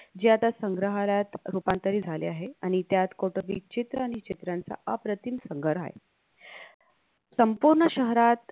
जे आता संग्रहालयात रूपांतरित झाले आहे आणि त्यात कौटूबिक चित्र आणि चित्रांचा अप्रतिम संगर आहे संपूर्ण शहरात